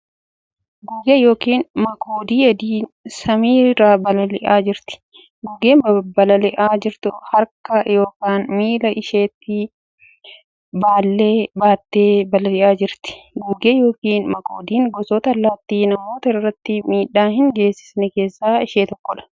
Gugee yookiin makoodii adiin samii irra balal'iaa jirti. Gugeen balali'aa jirtu harka yookiin miila isheetti baallee baattee balali'aa jirti. Gugee yookiin makoodiin gosoota allaatti namoota irratti miidhaa hin geessisne keessa ishee tokko.